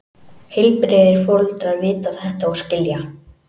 Heilbrigðir foreldrar vita þetta og skilja.